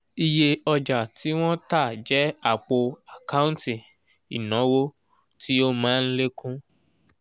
iye ọja tí wọn tá jẹ àpò àkántì ìnáwó tí ó má ń lékún